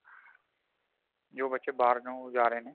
ਜੋਂ ਬੱਚੇ ਬਾਰ ਨੂੰ ਜਾ ਰਹੇ ਨੇ